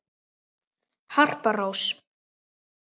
Harpa Rós.